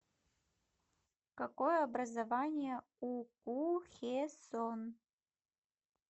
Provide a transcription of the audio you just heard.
какое образование у ку хе сон